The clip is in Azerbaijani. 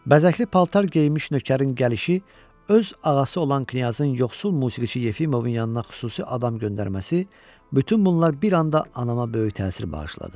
Bəzəkli paltar geyinmiş nökərin gəlişi, öz ağası olan knyazın yoxsul musiqiçi Yefimovun yanına xüsusi adam göndərməsi, bütün bunlar bir anda anama böyük təsir bağışladı.